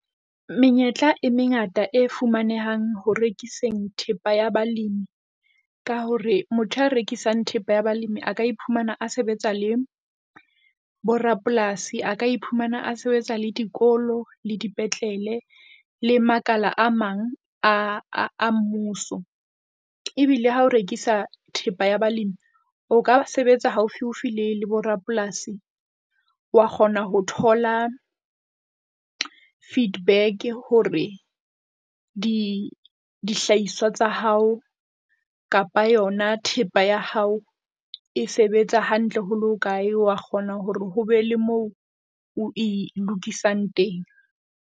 Menyetla e mengata e fumanehang ho rekiseng thepa ya balemi ka hore. motho a rekisang thepa ya balemi a ka iphumana a sebetsa le borapolasi, a ka iphumana a sebetsa le dikolo le dipetlele le makala a mang a a mmuso. Ebile ha o rekisa thepa ya balemi, o ka sebetsa haufiufi le le borapolasi, wa kgona ho thola feedback hore di dihlahiswa tsa hao kapa yona thepa ya hao e sebetsa hantle ho le hokae wa kgona hore ho be le moo oe lokisang teng.